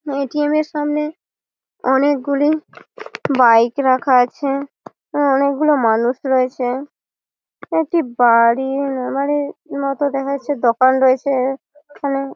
ATM -এর সামনে অনকে গুলি বইকে রাখা আছে। অনকে গুলি মানুষ রোয়েছে একটি বাড়ি মতো দেখা যাচ্ছে। দোকান রয়েছে এখানে।